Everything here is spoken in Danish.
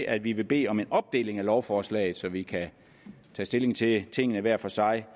at vi vil bede om en opdeling af lovforslaget så vi kan tage stilling til tingene hver for sig